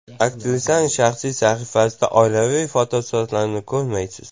Aktrisaning shaxsiy sahifasida oilaviy fotosuratlarni ko‘rmaysiz.